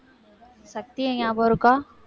சக்தியை ஞாபகம் இருக்கா?